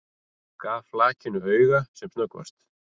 Gaf flakinu auga sem snöggvast.